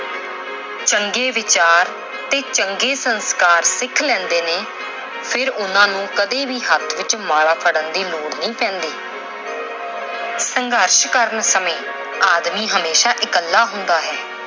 ਚੰਗੇ ਵਿਚਾਰ ਤੇ ਚੰਗੇ ਸੰਸਕਾਰ ਸਿੱਖ ਲੈਂਦੇ ਨੇ, ਫਿਰ ਉਹਨਾਂ ਨੂੰ ਕਦੇ ਵੀ ਹੱਥ ਵਿੱਚ ਮਾਲਾ ਫੜਨ ਦੀ ਲੋੜ ਨਹੀਂ ਪੈਂਦੀ। ਸੰਘਰਸ਼ ਕਰਨ ਸਮੇਂ ਆਦਮੀ ਹਮੇਸ਼ਾ ਇੱਕਲਾ ਹੁੰਦਾ ਹੈ।